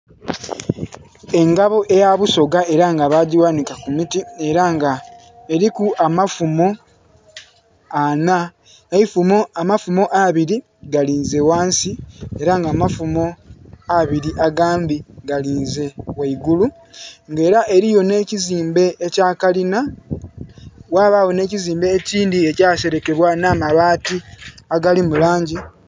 Engabo eya busoga ela nga bagighanika ku miti, ela nga eliku amafumo anha, eifumo, amafumo abili galinze ghansi ela nga amafumo abili agandhi galinze ghaigulu. Nga ela eliyo nh'ekizimbe ekya kalina ghabagho nh'ekizimbe ekindhi ekyaselekebwa nh'amabaati agali mu langi...